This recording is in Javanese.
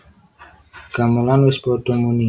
Gamelan wis padha muni